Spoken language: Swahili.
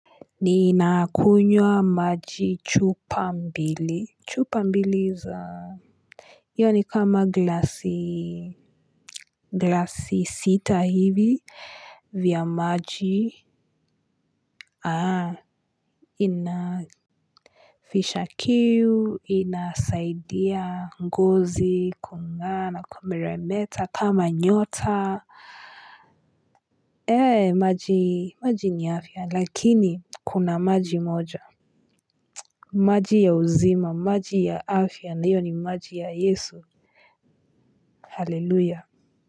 Ninakunywa maji chupa mbili. Chupa mbili za. Iyo ni kama glasiii. Glasi sita hivi. Vya maji. Aha. Inafisha kiu. Inasaidia ngozi kungaa na kumeremeta kama nyota ee maji maji ni afya. Lakini kuna maji moja. Maji ya uzima maji ya afya ndiyo ni maji ya yesu hallelujah.